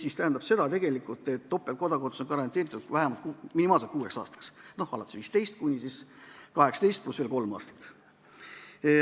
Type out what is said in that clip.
See tähendab tegelikult seda, et topeltkodakondsus on garanteeritud vähemalt kuueks aastaks: alates 15. eluaastast kuni 18. eluaastani pluss veel kolm aastat.